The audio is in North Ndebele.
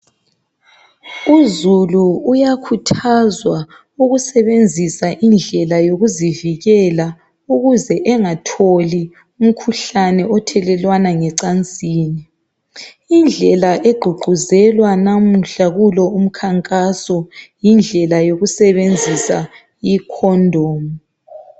Uzulu uyakhuthazwa ukusebenzisa indlela yokuzivikela ukuze engatholi umkhuhlane othelelwana ngecansini. Indlela egqugquzelwa namuhla kulo umkhankaso yindlela yokusebenzisa icondom.